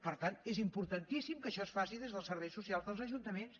per tant és importantíssim que això es faci des dels serveis socials dels ajuntaments